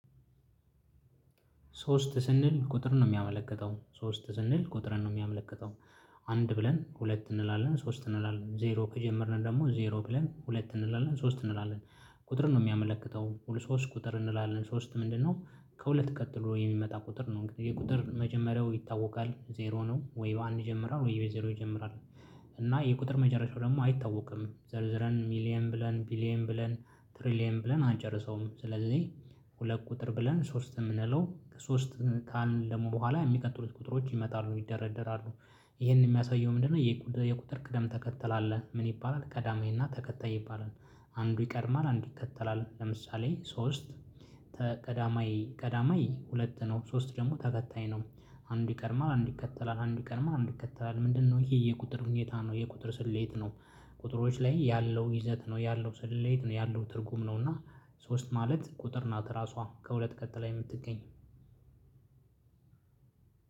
ሶስት ስንል ቁጥር ነው የሚያመለክተው ሶስት ስንል ቁጥር ነው የሚያመለክተው አንድ ብለን፤ ሁለት እንላለን፤ ሶስት እንላለን፤ ዜሮ ከጀመርን ደግሞ ዜሮ ብለን ሁለት እንላለን፤ ሶስት እንላለን ቁጥር ነው የሚያመለክተው ሁሉ ሶስት ቁጥር እንላለን ሶስት ምንድነው ከሁለት ቀጥሎ የሚመጣ ቁጥር ነው። ይሄ የቁጥር መጀመሪያው ይታወቃል ዜሮ ነው ወይ በአንድ ይጀምራል ወይ በዜሮ ይጀምራል እና የቁጥር መጨረሻው ደግሞ አይታወቅም። ዘርዝረን ሚሊየን ብለን፤ ቢሊየን ብለን፤ ትሪሊየን ብለን፤ አንጨርሰውም ስለዚህ ሁለት ቁጥር ብለን ሶስት የምንለው ሶስት ቃል ደግሞ በኋላ የሚቀጥሉት ቁጥሮች ይመጣሉ፤ ይደረደራሉ። ይሄንን የሚያሳየው ምንድነው የቁጥር ቅደም ተከተል አለ። ምን ይባላል ቀዳማዬና ተከታይ ይባላል። አንዱ ይቀድማል፤ አንዱ ይከተላል ለምሳሌ ሶስት ቀዳማይ ቀዳማይ ሁለት ነው፤ ሶስት ደግሞ ተከታይ ነው አንዱ ይቀድማል አንዱ ይከተላል፤ አንዱ ይቀድማል አንዱ ይከተላል፤ ምንድነው ይሄ የቁጥር ሁኔታ ነው። የቁጥር ስሌት ነው ቁጥሮች ላይ ያለው ይዘት ነው ያለው ስሌት ነው ያለው ትርጉም ነው እና ሶስት ማለት ቁጥር ናት ራሷ ከሁለት ቀጥላ የምትገኝ